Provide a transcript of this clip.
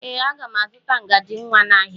Ee, aga m azụta ngaji nwa n'ahịa.